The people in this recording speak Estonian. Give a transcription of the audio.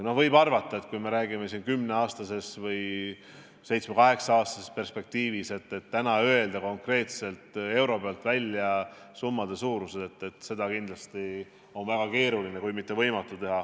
No võib ju arvata, et kui me räägime siin kümne aasta või seitsme-kaheksa aasta perspektiivist, on täna väga keeruline kui mitte võimatu öelda konkreetselt, euro täpsusega välja summade suurused.